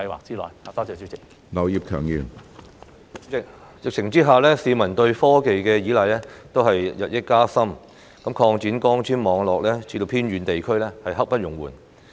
主席，在疫情下，市民對科技的依賴日深，擴展光纖網絡至偏遠地區是刻不容緩的。